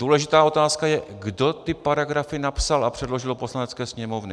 Důležitá otázka je, kdo ty paragrafy napsal a předložil do Poslanecké sněmovny.